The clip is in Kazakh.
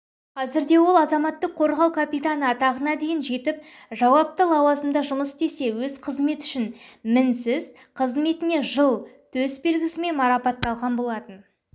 қазірде ол азаматтық қорғау капитаны атағына дейін жетіп жауапы лауазымда жұмыс істесе өз қызметі үшін мінсіз қызметіне жыл төс белгісімен марапатталған болатын